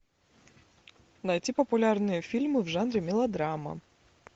найти популярные фильмы в жанре мелодрама